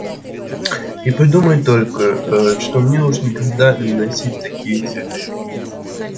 и подумать только ээ что мне уж никогда не носить такие цветы